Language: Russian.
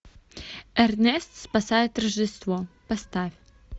эрнест спасает рождество поставь